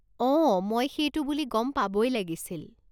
অ', মই সেইটো বুলি গম পাবই লাগিছিল।